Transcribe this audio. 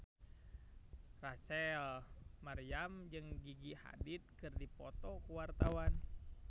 Rachel Maryam jeung Gigi Hadid keur dipoto ku wartawan